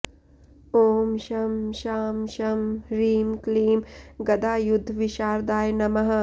ॐ शं शां षं ह्रीं क्लीं गदायुद्धविशारदाय नमः